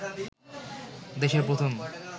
দেশের প্রথম